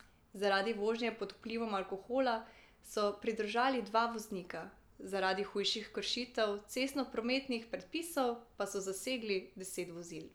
Zaradi vožnje pod vplivom alkohola so pridržali dva voznika, zaradi hujših kršitev cestnoprometnih predpisov pa so zasegli deset vozil.